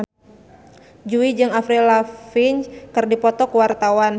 Jui jeung Avril Lavigne keur dipoto ku wartawan